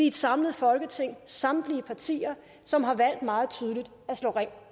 et samlet folketing samtlige partier som har valgt meget tydeligt at slå ring